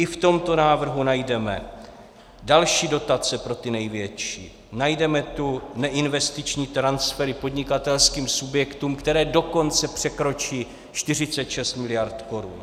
I v tomto návrhu najdeme další dotace pro ty největší, najdeme tu neinvestiční transfery podnikatelským subjektům, které dokonce překročí 46 miliard korun.